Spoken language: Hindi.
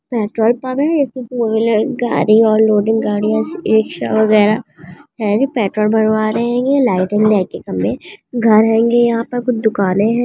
पेट्रोल पंप है इसमें टू व्हीलर गाड़ी और लोडिंग गाड़ी है इस रिक्शा वगैरा हेंगे पेट्रोल भरवा रहे हेंगे लाइटिंग लाइट के खंभे घर हेंगे यहाँ पर कुछ दुकानें है।